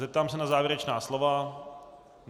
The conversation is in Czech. Zeptám se na závěrečná slova.